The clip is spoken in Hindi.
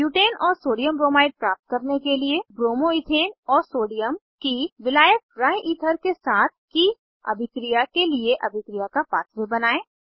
ब्यूटेन और सोडियमब्रोमाइड प्राप्त करने के लिए ब्रोमो इथेन और सोडियम की विलायक ड्राईईथर के साथ की अभिक्रिया के लिए अभिक्रिया का पाथवे बनायें